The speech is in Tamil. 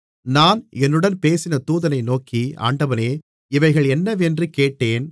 நான் என்னுடன் பேசின தூதனை நோக்கி ஆண்டவனே இவைகள் என்னவென்று கேட்டேன்